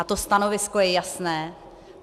A to stanovisko je jasné.